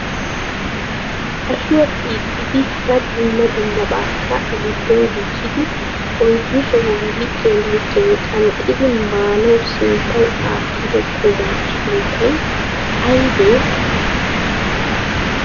ashuwa xiixidi hara dumma dummabakka a giddon gujjidi oyddu sohuwan likiyan likiyan qanxxidi maanawu sinttaw aattido quma sunttay aybbe ?